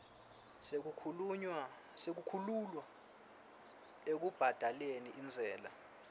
sekukhululwa ekubhadaleni intsela